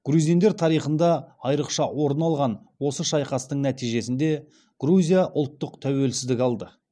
грузиндер тарихында айрықша орын алған осы шайқастың нәтижесінде грузия ұлттық тәуелсіздік алды